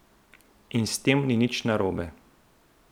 In s tem ni nič narobe!